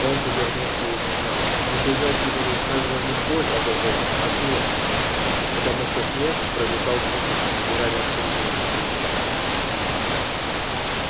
он повернулся и убежал но убежать его заставила не боль от ожогов а смех потому что смех проникал глубже и ранил сильнее чем огонь